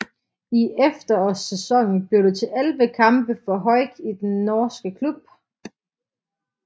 I efterårssæsonen blev det til 11 kampe for Haucke i den norske klub